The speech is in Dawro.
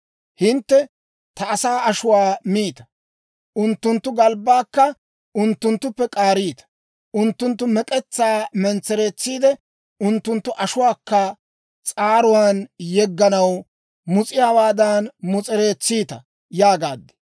Hintte ta asaa ashuwaa miita; unttunttu galbbaakka unttunttuppe k'aariita; unttunttu mek'etsaa mentsereetsiide, unttunttu ashuwaakka s'aaruwaan yegganaw mus'iyaawaadan mus'erettiita» yaagaad.